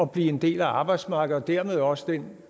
blive en del af arbejdsmarkedet og dermed også den